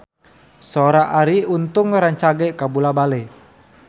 Sora Arie Untung rancage kabula-bale